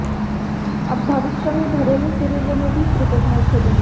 अब भविष्य में घरेलू सीरीजों में भी क्रिकेट नहीं खेलूंगा